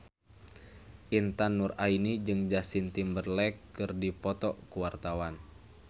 Intan Nuraini jeung Justin Timberlake keur dipoto ku wartawan